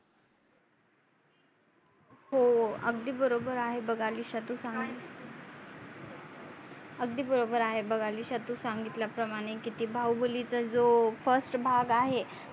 हो अगदी बरोबर आहे बग अलिशा तू सांगित अगदी बरोबर आहे बग अलिशा तू सांगितल्या प्रमाणे की ते बाहुबलीचा जो first भाग आहे.